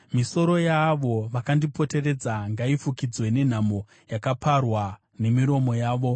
Misoro yaavo vakandipoteredza ngaifukidzwe nenhamo yakaparwa nemiromo yavo.